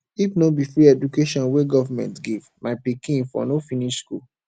if no be di free education wey government give my pikin for no finish school